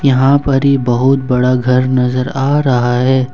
यहां पर बहुत बड़ा घर नजर आ रहा है।